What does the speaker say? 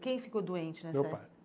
Quem ficou doente nessa época? Meu pai